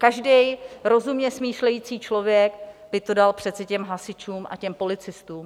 Každý rozumně smýšlející člověk by to dal přece těm hasičům a těm policistům.